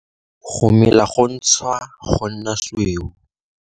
Go mela go gontshwa go nna sweu.